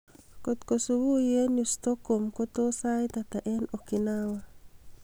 kotko subui en yu stockholm ko tos sait ata en okinawa